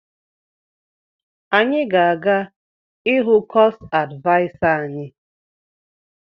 Anyị ga-aga ịhụ kosu advịasa anyi